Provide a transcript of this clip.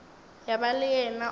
ya ba le yena o